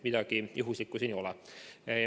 Midagi juhuslikku siin ei ole.